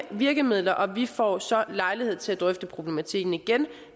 virkemidler og vi får så lejlighed til at drøfte problematikken igen